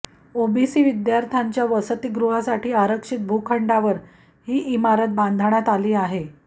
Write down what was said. OBC विद्यार्थ्यांच्या वसतीगृहासाठी आरक्षित भूखंडावर ही इमारत बांधण्यात आली आहे